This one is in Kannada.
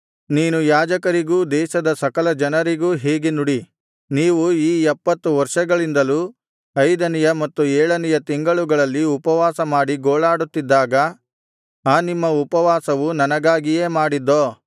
ನೀನು ಯಾಜಕರಿಗೂ ದೇಶದ ಸಕಲ ಜನರಿಗೂ ಹೀಗೆ ನುಡಿ ನೀವು ಈ ಎಪ್ಪತ್ತು ವರ್ಷಗಳಿಂದಲೂ ಐದನೆಯ ಮತ್ತು ಏಳನೆಯ ತಿಂಗಳುಗಳಲ್ಲಿ ಉಪವಾಸಮಾಡಿ ಗೋಳಾಡುತ್ತಿದ್ದಾಗ ಆ ನಿಮ್ಮ ಉಪವಾಸವು ನನಗಾಗಿಯೇ ಮಾಡಿದ್ದೋ